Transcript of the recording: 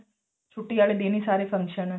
ਛੁੱਟੀ ਆਲੇ ਦਿਨ ਹੀ ਸਾਰੇ function